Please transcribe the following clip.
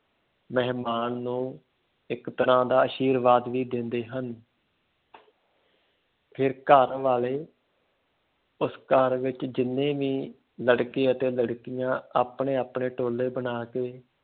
ਮਹਿਮਾਨ ਨੂੰ ਇੱਕ ਤਰ੍ਹਾਂ ਦਾ ਆਸ਼ਿਰਵਾਦ ਵੀ ਦਿੰਦੇ ਹਨ ਫਿਰ ਘਰ ਵਾਲੇ ਉਸ ਘਰ ਵਿੱਚ ਜਿੰਨੇ ਵੀ ਲੜਕੇ ਅਤੇ ਲੜਕੀਆਂ ਆਪਣੇ ਆਪਣੇ ਟੋਲੇ ਬਣਾ ਕੇ